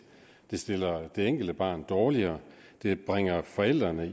det stiller det enkelte barn dårligere det bringer forældrene